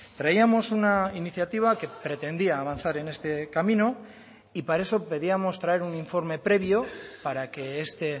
traíamos una iniciativa que pretendía avanzar en este camino y para eso pedíamos traer un informe previo para que este